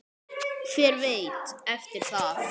Hver veit eftir það?